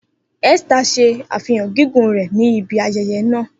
Esther ṣe afihan gigun rẹ ni ibi ayẹyẹ naa.